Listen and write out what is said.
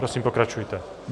Prosím, pokračujte.